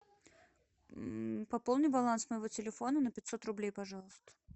пополни баланс моего телефона на пятьсот рублей пожалуйста